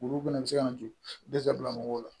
Olu fɛnɛ bɛ se ka nto dɛsɛ bila mɔgɔw la